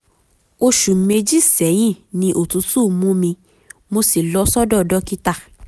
oṣù um méjì sẹ́yìn ni òtútù mú mi mo um sì lọ sọ́dọ̀ um um dókítà